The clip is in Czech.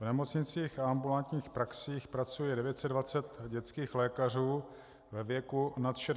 V nemocnicích a ambulantních praxích pracuje 920 dětských lékařů ve věku nad 60 let.